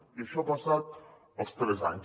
i això ha passat els tres anys